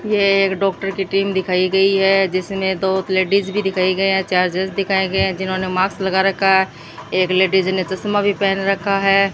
ये एक डॉक्टर की टीम दिखाई गयी है जिसमें दो लेडिज भी दिखाई गया है चार जेंट्स दिखाया गया जिन्होंने मास्क लगा रखा है एक लेडीज ने चश्मा भी पहन रखा है।